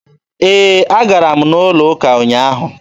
E, a gara m ụlọ ụka ụnyaahụ.